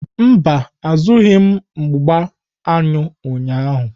Mba, azụrụghị m mgbá aṅụ ụnyahụ.